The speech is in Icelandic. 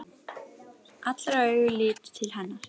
Allra augu litu til hennar.